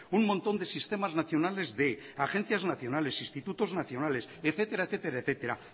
un montón de sistemas nacionales de agencias nacionales institutos nacionales etcétera etcétera etcétera